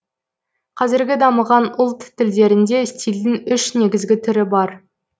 казіргі дамыған ұлт тілдерінде стильдің үш негізгі түрі бар